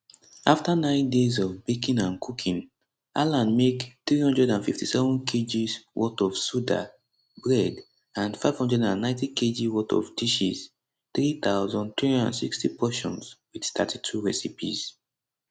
afta nine days of baking and cooking alan make 357 kg worth of soda bread and 590kg worth of dishes 3360 portions wit 32 recipes